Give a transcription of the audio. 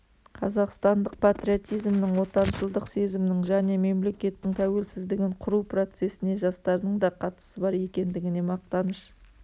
қазақстандық патриотизмнің отаншылдық сезімнің және мемлекеттің тәуелсіздігін құру процесіне жастардың да қатысы бар екендігіне мақтаныш